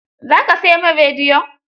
Za ka sai min rediyon?